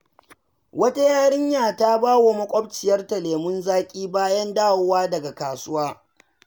Wata yarinya ta ba wa makwabciyarta lemun zaki bayan dawowa daga kasuwa.